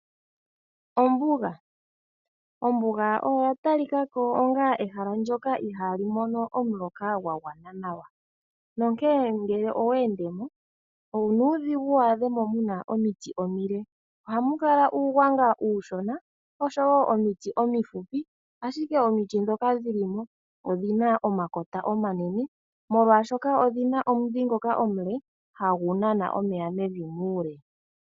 Ombuga Ombuga oya talika ko onga ehala ndyoka ihaa li mono omuloka gwa gwana nawa, nonkee ngele owe ende mo onuudhigu waadhe mo muna omiti omile. Ohamu kala uugwanga uushona oshowo omiti omifupi, ashike omiti ndhoka dhili mo odhi na omakota omanene molwaashoka odhina omudhi ngoka omule hagu nana omeya mevi muule.